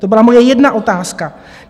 To byla moje jedna otázka.